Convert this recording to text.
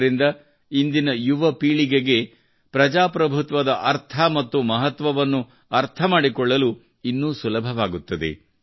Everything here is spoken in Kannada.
ಇದರಿಂದ ಇಂದಿನ ಯುವ ಪೀಳಿಗೆಗೆ ಪ್ರಜಾಪ್ರಭುತ್ವದ ಅರ್ಥ ಮತ್ತು ಮಹತ್ವವನ್ನು ಅರ್ಥ ಮಾಡಿಕೊಳ್ಳಲು ಇನ್ನೂ ಸುಲಭವಾಗುತ್ತದೆ